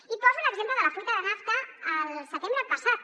i poso l’exemple de la fuita de nafta el setembre passat